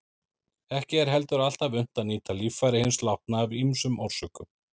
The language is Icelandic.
Ekki er heldur alltaf unnt að nýta líffæri hins látna af ýmsum orsökum.